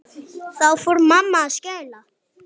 Þá fór mamma að skæla.